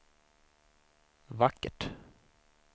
vackert